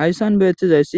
hayssan beeththizays